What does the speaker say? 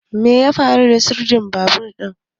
Me ya faru da sirdin babur din?